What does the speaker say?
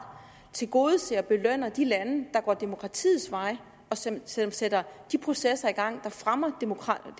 tilgodeser og belønner de lande der går demokratiets vej og som sætter sætter de processer i gang der fremmer demokratiet